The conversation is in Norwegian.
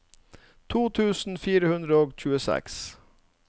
to tusen fire hundre og tjueseks